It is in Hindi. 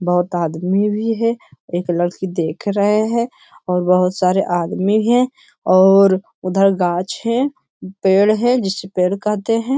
बहुत आदमी भी है एक लड़की देख रहें हैं और बहुत सारे आदमी है और उधर गाछ है पेड़ है जिसे पेड़ कहते हैं।